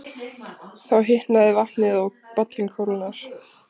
Þá hitnar vatnið og bollinn kólnar.